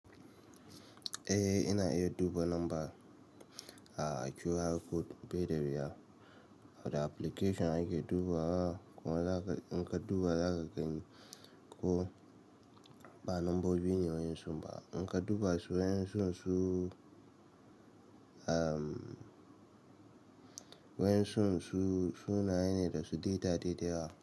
Eh ina iya duba lamba a QR code bai da wuya. Da application ake duba wa kuma za ka in ka duba za ka gani ko ba lambobi ne wayan sun ba. In ka duba su waƴan sun, su waƴan sun su, sunaye ne da su data dai da yawa.